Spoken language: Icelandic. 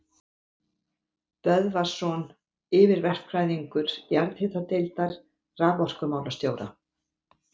Böðvarsson yfirverkfræðingur jarðhitadeildar raforkumálastjóra.